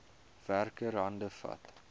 werker hande vat